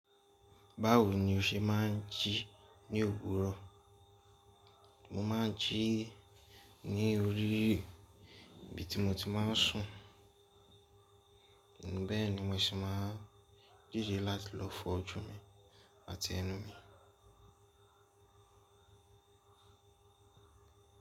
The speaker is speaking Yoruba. Báwo ni o ṣe máà ń jí ní òwúrọ̀? Mo máà ń jí ní orí ibi tí mo ti máa ń sùn, bẹ́ẹ̀ ni mo sì máa ń dìde láti lọ fọ oju mi àti ẹnu mi.